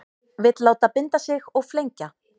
Vill láta binda sig og flengja